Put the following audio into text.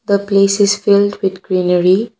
the place is filled with greenery.